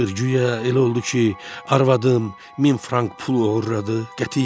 Guya elə oldu ki, arvadım min frank pul oğurladı, qətiyyən.